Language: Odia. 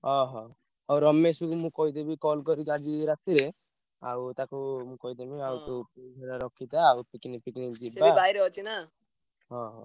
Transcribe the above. ଅହ! ହଉ ରମେଶକୁ ମୁଁ କହିଦେବି call କରିକି ଆଜି ରାତିରେ ଆଉ ତାକୁ ମୁଁ କହିଦେବି ଆଉ ତୁ ତୁ ହେଲା ରଖିଥା ଆଉ ତୁ picnic ଫିକନିକ ଯିବା ଅହୋ! ଆଉ